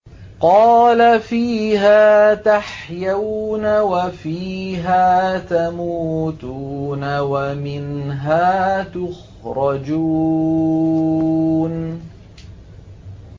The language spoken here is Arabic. قَالَ فِيهَا تَحْيَوْنَ وَفِيهَا تَمُوتُونَ وَمِنْهَا تُخْرَجُونَ